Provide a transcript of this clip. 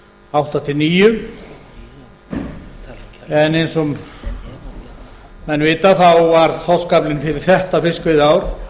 átta til tvö þúsund og níu en eins og menn vita var þorskaflann fyrir þetta fiskveiðiár